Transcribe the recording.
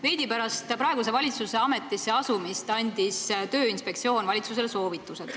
Veidi pärast praeguse valitsuse ametisse asumist andis Tööinspektsioon valitsusele üle oma soovitused.